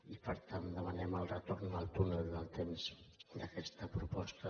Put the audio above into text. i per tant demanem el retorn al túnel del temps d’aquesta proposta